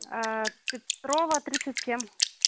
петрова тридцать семь